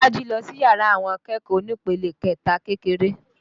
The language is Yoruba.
Bolaji lọ sí yàrá àwọn akẹ́kọ̀ọ́ onípele kẹta kékeré